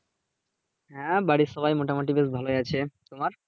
হ্যাঁ বাড়ির সবাই মোটামুটি বেশ ভালোই আছে, তোমার?